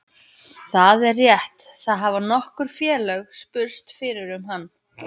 Það er rétt, það hafa nokkur félög spurst fyrir um hann.